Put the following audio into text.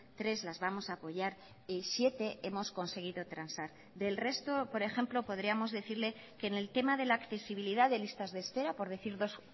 tres las vamos a apoyar y siete hemos conseguido transar del resto por ejemplo podríamos decirle que en el tema de la accesibilidad de listas de espera por decir dos